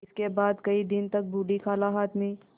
इसके बाद कई दिन तक बूढ़ी खाला हाथ में